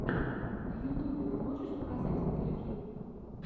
на ютьюбе ты можешь показать интервью